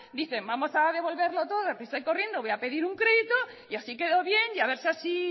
dicen vamos a devolverlo todo deprisa y corriendo voy a pedir un crédito y así quedo bien y a ver si así